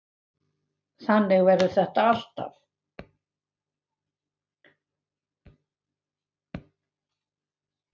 Þannig verður þetta alltaf.